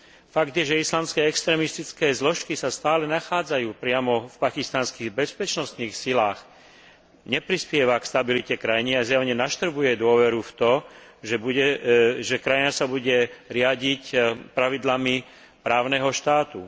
Fakt, že islamské extrémistické zložky sa stále nachádzajú priamo v pakistanských bezpečnostných silách, neprispieva k stabilite krajiny a zjavne naštrbuje dôveru v to, že krajina sa bude riadiť pravidlami právneho štátu.